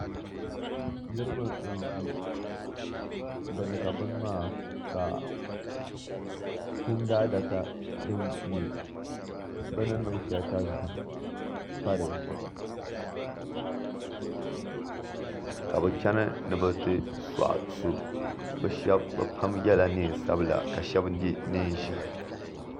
Niriba n-ʒi bini ka bini maa ka kumdaadaka din nyɛ bɛ ni niŋ ka zahim pa di zuɣu ka bɛ chani ni bɛ ti sɔɣi so bɛ shɛba bɛ pam yɛla neen' sabila ka shɛba ye neen' ʒɛhi